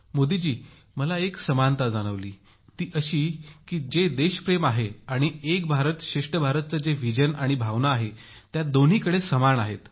मोदी जी मला एक समानता जाणवली ती अशी की जे देशप्रेम आहे आणि एक भारत श्रेष्ठ भारत संकल्पनेची जी दूरदृष्टी आहे आणि भावना आहे ती दोन्हीकडे समान आहे